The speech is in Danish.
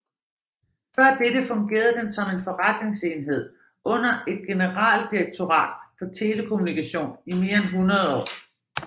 Før dette fungerede den som en forretningsenhed under et generaldirektorat for telekommunikation i mere end 100 år